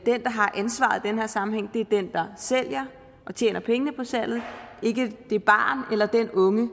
den der har ansvaret i den her sammenhæng er den der sælger og tjener pengene på salget ikke det barn eller den unge